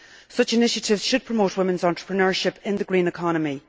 Such initiatives should promote women's entrepreneurship in the green economy.